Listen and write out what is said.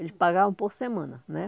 Eles pagavam por semana, né?